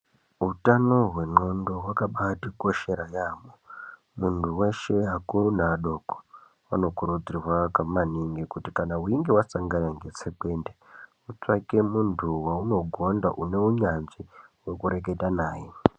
Utano hwendxondo hwakabatikoshere yambo, muntu weshe akuru neadoko anokurudzirwa kuti maningi kuti kana weinge wasangana netsekwende utsvake muntu waunogonda une unyanzvi wekurekete naye.